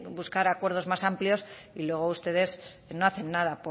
buscar acuerdos más amplios y luego ustedes no hacen nada